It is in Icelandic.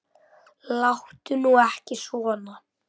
Láttu nú ekki svona.